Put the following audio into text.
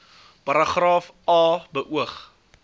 paragraaf a beoog